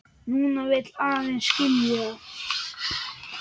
Núna vil ég aðeins skilja.